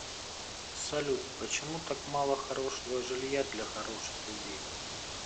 салют почему так мало хорошего жилья для хороших людей